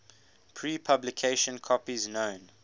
pre publication copies known